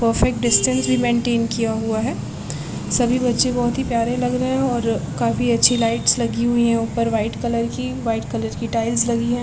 Perfect distance भी maintain किया हुआ है सभी बच्चे बहुत ही प्यारे लग रहे है और काफी अच्छी लाइट्स लगी हुई है उपर वाइट कलर की वाइट कलर की टाइल्स लगी है।